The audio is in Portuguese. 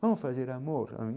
Vamos fazer amor.